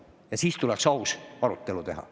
Aga siis tuleks aus arutelu teha.